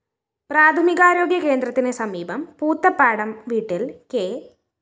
പ്രാഥമികാരോഗ്യ കേന്ദ്രത്തിന് സമീപം പൂതപ്പാടം വീട്ടില്‍ കെ